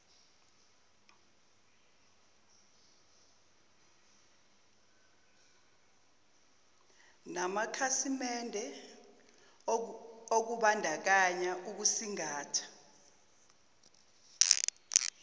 namakhasimende okubandakanya ukusingatha